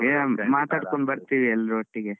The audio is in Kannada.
ಮಾತಾಡ್ಕೊಂಡು ಬರ್ತಿವಿ ಎಲ್ಲರು ಒಟ್ಟಿಗೆ